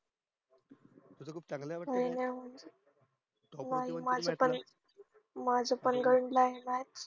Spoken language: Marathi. तुझं खूप चांगलं ये वाट गणित हो ना माझं पण गणित माझं पण गणित